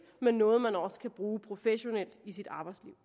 men noget man også kan bruge professionelt i sit arbejdsliv